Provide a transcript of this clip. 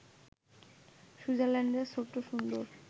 সুইজারল্যান্ডের ছোট্ট সুন্দর